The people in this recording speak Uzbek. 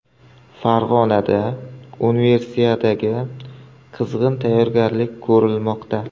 Farg‘onada Universiadaga qizg‘in tayyorgarlik ko‘rilmoqda.